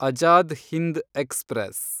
Azad Hind express